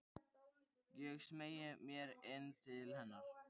Ég smeygi mér inn til hennar.